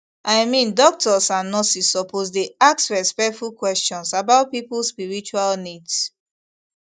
i mean doctors and nurses suppose dey ask respectful questions about people spiritual needs